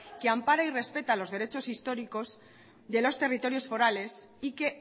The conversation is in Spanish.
que ampara y respeta los derechos históricos de los territorios forales y que